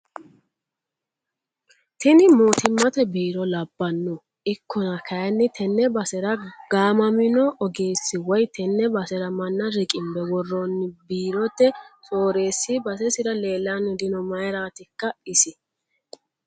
Tini mootimate biiro labbano ikkonna kayinni tene basera gaamamino ogeessi woyi tene basera manna riqinbe woronni biirote soorresi basesira leellanni dino mayratikka isi